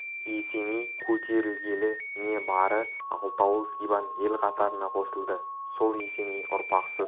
есеней көтерілгелі не бары алты ауыл сибан ел қатарына қосылды сол есеней ұрпақсыз